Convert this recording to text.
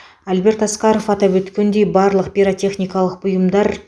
альберт асқаров атап өткендей барлық пиротехникалық бұйымдар